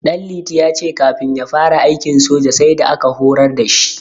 Ɗanliti ya ce kafin ya fara aikin soja, sai da aka horar da shi.